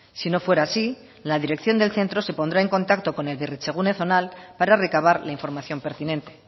si no fuera así la dirección del centro se pondrá en contacto con el berritzegune zonal para recabar la información pertinente